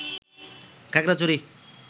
Khagrachari